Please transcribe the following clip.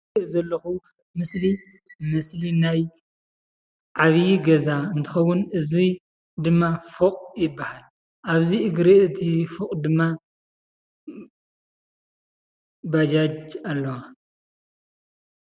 እዚ ዝሪኦ ዘለኹ ምስሊ እዚ ዓብዪ ገዛ እንትከውን እዚ ድማ ፉቕ ይበሃል። ኣብዚ እቲ እግሪ እዚ ፉቕ ድማ ባጃጅ ኣለዋ።